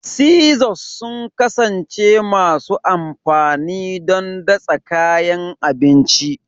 Scissors sun ƙasance masu amfani don datsa kayan abinci